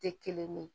Tɛ kelen ye